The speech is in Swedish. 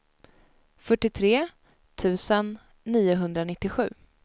fyrtiotre tusen niohundranittiosju